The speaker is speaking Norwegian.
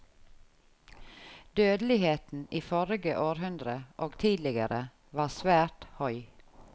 Dødeligheten i forrige århundre og tidligere var svært høg.